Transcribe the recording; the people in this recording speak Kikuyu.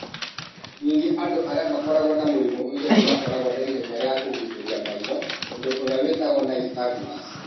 Ningĩ andũ arĩa makoragwo na mũrimũ ũcio nĩ makoragwo na ihenya rĩa kũgucĩrĩria maitho, ũndũ ũrĩa wĩtagwo nystagmus.